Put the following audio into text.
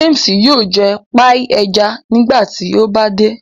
James yóò jẹ paii ẹja nígbàtí o ba dé.